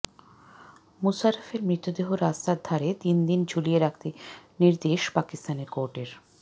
মুশারফের মৃতদেহ রাস্তার ধারে তিনদিন ঝুলিয়ে রাখতে নির্দেশ পাকিস্তানের কোর্টের